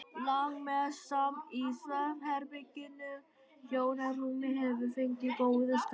Langmest samt í svefnherberginu, hjónarúmið hefur fengið góðan skammt.